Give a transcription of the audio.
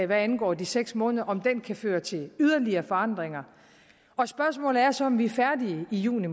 hvad angår de seks måneder kan føre til yderligere forandringer spørgsmålet er så om vi er færdige i juni